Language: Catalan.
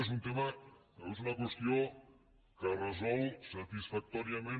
és una qüestió que resol satisfactòriament